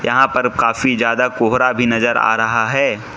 यहां पर काफी ज्यादा कोहरा भी नजर आ रहा है।